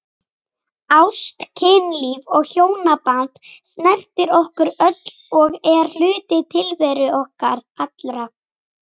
Ást, kynlíf og hjónaband snertir okkur öll og er hluti tilveru okkar allra.